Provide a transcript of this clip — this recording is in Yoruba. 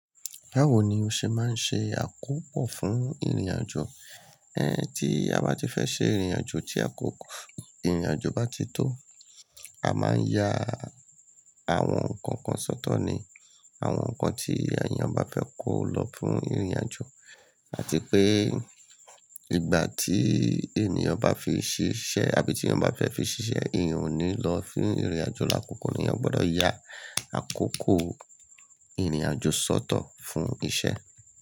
Báwo ni o ṣe máa ń ṣe àkópò fún ìrìnàjò? Ẹn, tí a bá ti fẹ́ ṣe ìrìnàjò tí àkókò ìrìnàjò bá ti tó, a máa ń ya àwọn nǹkan kan sọ́tọ̀ ni àwọn nǹkan tí èèyàn bá fẹ́ kó lọ fún ìrìnàjò. Àti pé ìgbà tí èèyàn bá fi ṣiṣẹ́ àbí tí èèyàn bá fẹ́ fi ṣiṣẹ́, èèyàn ò ní lọ fún ìrìnàjò lakòókò ni èèyàn gbọ́dọ̀ ya àkókò ìrìnàjò sọ́tọ̀ fún isẹ́.